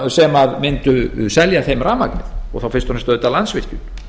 sem mundu selja þeim rafmagnið og þá auðvitað fyrst fremst landsvirkjun